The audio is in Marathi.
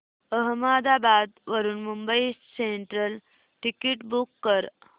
अहमदाबाद वरून मुंबई सेंट्रल टिकिट बुक कर